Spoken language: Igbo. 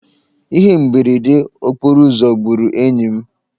Ihe mberede okporoụzọ gburu enyi m.